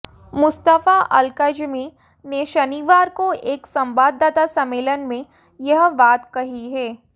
Mustafa Al Kadhimi ने शनिवार को एक संवाददाता सम्मेलन में यह बात कही है